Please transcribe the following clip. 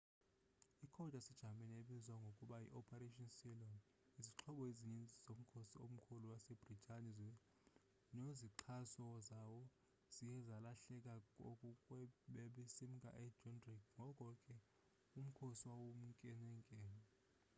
i code yase-jamani ebizwa ngokuba yi operation sealion”.izixhobo ezinintsi zomkhosi omkhulu wase britane nozixhaso zawo zaye zalahleka xa babesimka e-dunkirk ngoko ke umkhosi wawunkenenkene